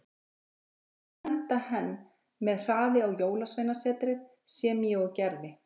Ég átti að senda henn með hraði á jólasveinasetrið, sem ég og gerði.